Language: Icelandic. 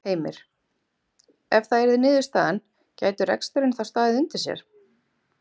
Heimir: Ef það yrði niðurstaðan gæti reksturinn þá staðið undir sér?